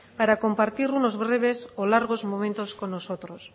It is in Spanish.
para compartir unos breves o largos momentos con nosotros